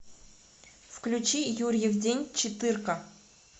включи юрьев день четыре ка